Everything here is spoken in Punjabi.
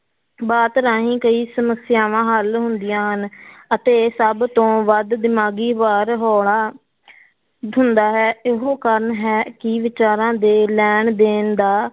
ਬਾਤ ਰਾਹੀਂ ਕਈ ਸਮੱਸਿਆਵਾਂ ਹੱਲ ਹੁੰਦੀਆਂ ਹਨ ਅਤੇ ਸਭ ਤੋਂ ਵੱਧ ਦਿਮਾਗੀ ਭਾਰ ਹੋਲਾ ਹੁੰਦਾ ਹੈ ਇਹੋ ਕਾਰਨ ਹੈ ਕਿ ਵਿਚਾਰਾਂ ਦੇ ਲੈਣ ਦੇਣ ਦਾ